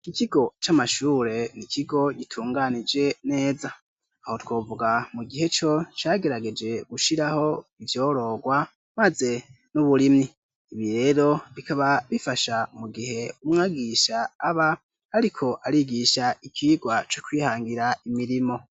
Ikikigo c'amashure ni ikigo gitunganije neza aho twovuga mu gihe co cagerageje gushiraho ivyororwa, maze n'uburimyi ibi rero bikaba bifasha mu gihe umwagisha aba, ariko arigisha ikirwa co kwihangira imirimo.